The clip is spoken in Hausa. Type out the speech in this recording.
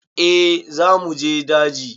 Eh za mu je daji.